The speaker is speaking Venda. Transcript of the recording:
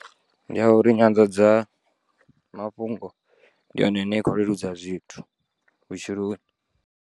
Ndi ya uri nyanḓadza mafhungo ndi yone ine ya kho leludza zwithu vhutshiloni.